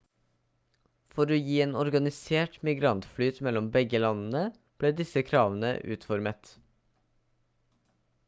for å gi en organisert migrantflyt mellom begge landene ble disse kravene utformet